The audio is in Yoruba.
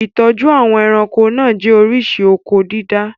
Ìtọ́jú àwọn ẹranko náà jẹ́ oríṣi oko-dídá.